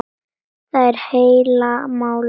Það er heila málið.